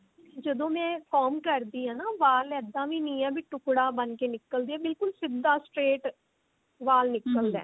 ਜਦੋਂ ਮੈਂ comb ਕਰਦੀ ਹਾਂ ਨਾ ਵਾਲ ਇੱਦਾਂ ਵੀ ਨਹੀਂ ਹੈ ਕਿ ਟੁੱਕੜਾ ਬਣ ਕੇ ਨਿਕਲਦੇ ਹੈ ਬਿਲਕੁਲ ਸਿੱਧਾ straight ਵਾਲ ਨਿਕਲਦਾ